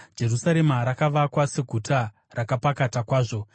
Jerusarema rakavakwa seguta rakapakata kwazvo.